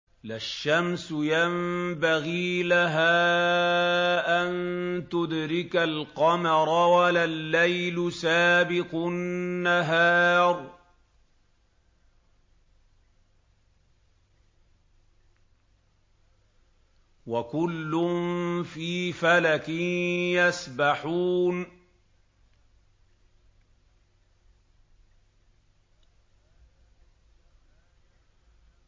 لَا الشَّمْسُ يَنبَغِي لَهَا أَن تُدْرِكَ الْقَمَرَ وَلَا اللَّيْلُ سَابِقُ النَّهَارِ ۚ وَكُلٌّ فِي فَلَكٍ يَسْبَحُونَ